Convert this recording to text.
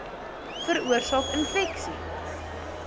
veroorsaak infeksie